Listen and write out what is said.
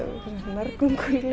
nærgöngul